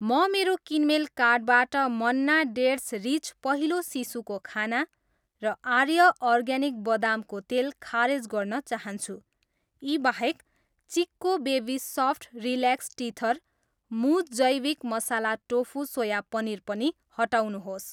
म मेरो किनमेल कार्टबाट मन्ना डेट्स रिच पहिलो शिशुको खाना र आर्य अर्ग्यानिक बदामको तेल खारेज गर्न चाहन्छु। यी बाहेक, Chicco baby soft relax teether, मुज जैविक मसाला टोफु सोया पनिर पनि हटाउनुहोस्।